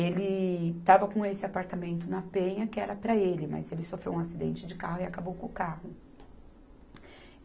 Ele estava com esse apartamento na Penha, que era para ele, mas ele sofreu um acidente de carro e acabou com o carro.